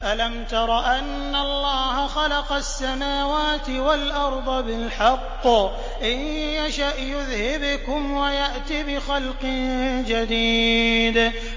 أَلَمْ تَرَ أَنَّ اللَّهَ خَلَقَ السَّمَاوَاتِ وَالْأَرْضَ بِالْحَقِّ ۚ إِن يَشَأْ يُذْهِبْكُمْ وَيَأْتِ بِخَلْقٍ جَدِيدٍ